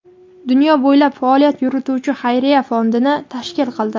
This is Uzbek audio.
dunyo bo‘ylab faoliyat yurituvchi xayriya fondini tashkil qildi.